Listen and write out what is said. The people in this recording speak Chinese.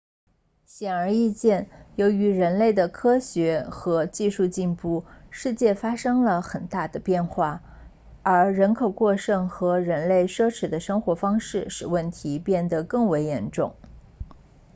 显而易见由于人类的科学和技术进步世界发生了很大的变化而人口过剩和人类奢侈的生活方式使问题变得更为严重